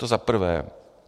To za prvé.